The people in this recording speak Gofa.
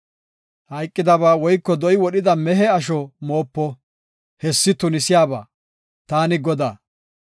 Hayqidaba woyko do7i wodhida mehe asho moopo; hessi tunisiyaba. Taani Godaa.